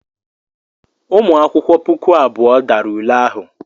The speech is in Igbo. Ụmụ akwụkwọ puku abụọ dara ule ahụ.